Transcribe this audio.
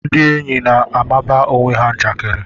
Ndị enyi na-amaba onwe ha njakiri